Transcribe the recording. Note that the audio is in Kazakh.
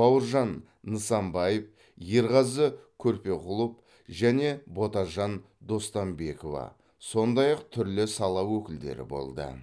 бауыржан нысанбаев ерғазы көрпеқұлов және ботажан достанбекова сондай ақ түрлі сала өкілдері болды